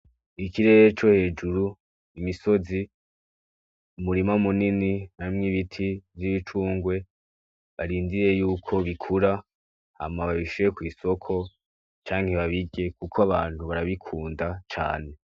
Ikirere co hejuru, imisozi umurima munini hamwe n'ibiti vy'imicungwe barindiye yuko bikura hama babishire kw'isoko canke babirye kuko abantu barabikunda cane.